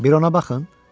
Bir ona baxın!